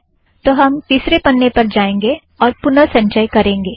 तो हम तिसरे पन्ने पर जाएंगें और पुनः संचय करेंगे